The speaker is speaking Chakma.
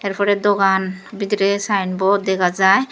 ter porey dogan bidirey sign board dega jaai.